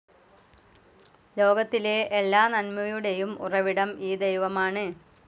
ലോകത്തിലെ എല്ലാ നന്മയുടെയും ഉറവിടം ഈ ദൈവമാണ്.